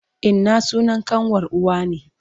Inna sunan ƙanwar uwa ne.